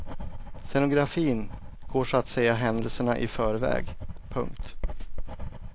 Scenografin går så att säga händelserna i förväg. punkt